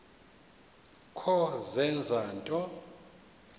kho zenza nto